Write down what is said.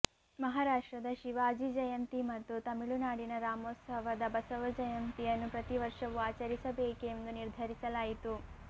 ಮಹಾರಾಷ್ಟ್ರದ ಶಿವಾಜಿ ಜಯಂತಿ ಮತ್ತು ತಮಿಳು ನಾಡಿನ ರಾಮೋತ್ಸವದ ಬಸವ ಜಯಂತಿಯನ್ನು ಪ್ರತಿ ವರ್ಷವು ಆಚರಿಸಬೇಕೆಂದು ನಿರ್ಧರಿಸಲಾಯಿತು